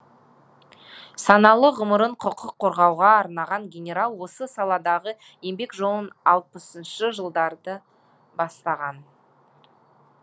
саналы ғұмырын құқық қорғауға арнаған генерал осы саладағы еңбек жолын алпысыншы жылдары бастаған